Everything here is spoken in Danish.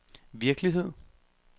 virkelighed